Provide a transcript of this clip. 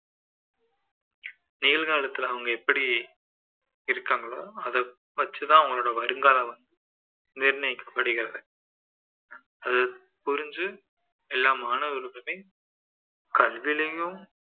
நிகழ்காலத்துல அவங்க எப்படி இருக்காங்களோ அதை பற்றிதான் அவங்க வருங்காலம் நிர்ணயிக்கப்படுகிறது அது புரிஞ்சு எல்லா மாணவர்களுமே கல்விலேயும்